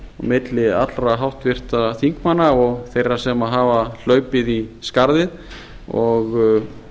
milli allra háttvirtra þingmanna og þeirra sem hafa hlaupið í skarðið og